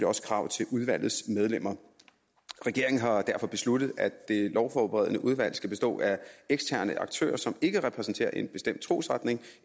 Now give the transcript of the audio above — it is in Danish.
også krav til udvalgets medlemmer regeringen har derfor besluttet at det lovforberedende udvalg skal bestå af eksterne aktører som ikke repræsenterer en bestemt trosretning